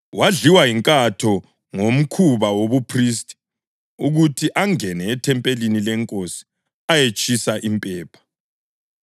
wadliwa yinkatho ngokomkhuba wobuphristi, ukuthi angene ethempelini leNkosi ayetshisa impepha.